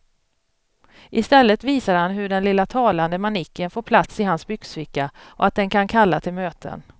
Istället visar han hur den lilla talande manicken får plats i hans byxficka och att den kan kalla till möten.